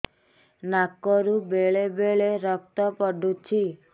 ନାକରୁ ବେଳେ ବେଳେ ରକ୍ତ ପଡୁଛି